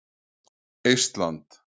Eistland